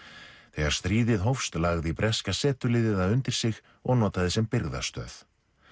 þegar stríðið hófst lagði breska setuliðið það undir sig og notaði sem birgðastöð